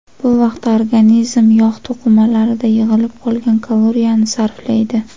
Bu vaqtda organizm yog‘ to‘qimalarida yig‘ilib qolgan kaloriyani sarflaydi.